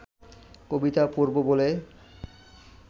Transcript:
কবিতা পড়ব বলে